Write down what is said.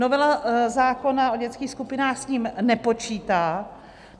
Novela zákona o dětských skupinách s ním nepočítá.